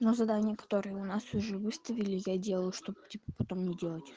ну задания которые у нас уже выставили я делаю чтобы типа потом не делать